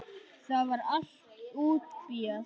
Það var allt útbíað.